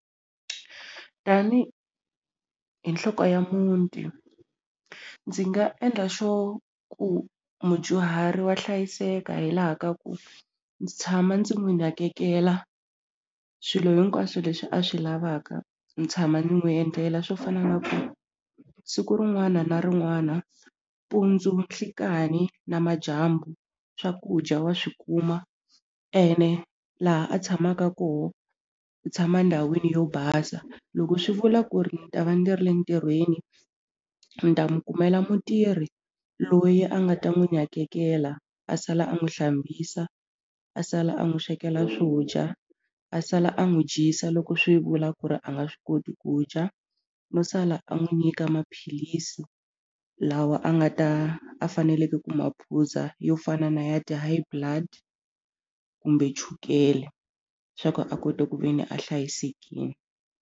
Tanihi nhloko ya muti ndzi nga endla xo ku mudyuhari wa hlayiseka hi laha ka ku ndzi tshama ndzi n'wi nakekela swilo hinkwaswo leswi a swi lavaka ni tshama ni n'wi endlela swo fana na ku siku rin'wana na rin'wana mpundzu nhlikani na madyambu swakudya wa swi kuma ene laha a tshamaka koho u tshama ndhawini yo basa loko swi vula ku ri ni ta va ndzi ri ntirhweni ni ta n'wi kumela mutirhi loyi a nga ta n'wi nakekela a sala a n'wi hlambisa a sala a n'wi swekela swo dya a sala a n'wi dyisa loko swi vula ku ri a nga swi koti ku dya no sala a n'wi nyika maphilisi lawa a nga ta a faneleke ku maphuza yo fana na ya ti-High Blood kumbe chukele swa ku a kota ku ve ni a hlayisekini.